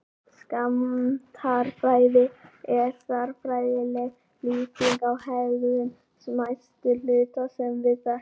Skammtafræði er stærðfræðileg lýsing á hegðun smæstu hluta sem við þekkjum.